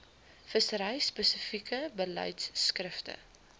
vissery spesifieke beleidskrifte